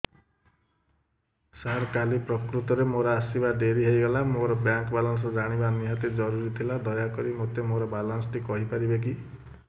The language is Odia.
ସାର କାଲି ପ୍ରକୃତରେ ମୋର ଆସିବା ଡେରି ହେଇଗଲା ମୋର ବ୍ୟାଙ୍କ ବାଲାନ୍ସ ଜାଣିବା ନିହାତି ଜରୁରୀ ଥିଲା ଦୟାକରି ମୋତେ ମୋର ବାଲାନ୍ସ ଟି କହିପାରିବେକି